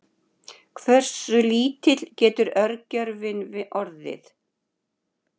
hversu lítill getur örgjörvinn orðið